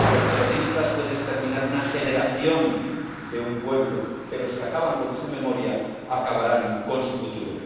Los terroristas pueden exterminar una generación de un pueblo, pero si acaban con su memoria, acabarán con su futuro.